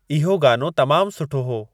इहो गानो तमामु सुठो हो